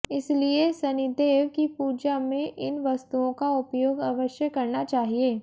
इसीलिए शनिदेव की पूजा में इन वस्तुओं का उपयोग अवश्य करना चाहिए